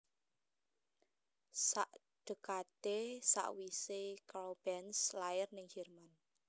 Sak dekade sakwise Karl Benz lair ning Jerman